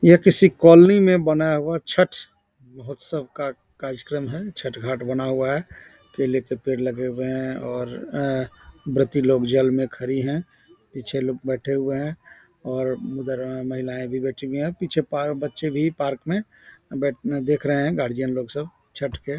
यह किसी कॉलोनी में बनाया हुआ है छठ महोत्स्व का कार्यक्रम है छठ घाट बना हुआ है केले के पेड़ लगे हुए हैं और ऐ व्रती लोग जल में खड़ी हैं पीछे लोग बैठे हुए हैं और उधर महिलाएं भी बैठी हुई हैं और पीछे पार्क बच्चे भी पार्क में बैठ ए देख रहे हैं गार्जियन लोग सब छठ के |